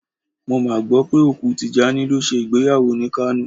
Mo mà gbọ́ pé òkú Tìjání lọ ṣe ìgbéyàwó ni Kánò.